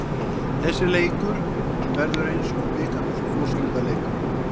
Þessi leikur verður eins og bikarúrslitaleikur.